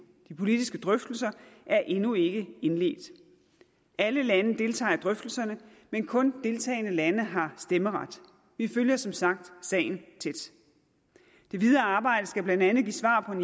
de politiske drøftelser er endnu ikke indledt alle lande deltager i drøftelserne men kun de deltagende lande har stemmeret vi følger som sagt sagen tæt det videre arbejde skal blandt andet give svar på